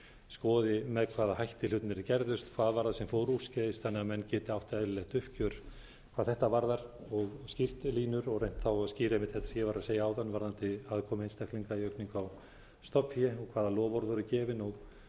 skoði með hvaða hætti hlutirnir gerðust hvað var sem fór úrskeiðis þannig að menn geti átt eðlilegt uppgjör hvað þetta varðar og skýrt línur og reynt að skýra einmitt þetta sem ég var að segja áðan varðandi aðkomu einstaklinga í aukningu á stofnfé hvaða loforð voru gefin